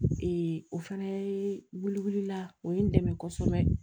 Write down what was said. o fɛnɛ ye wili wuli la o ye n dɛmɛ kosɛbɛ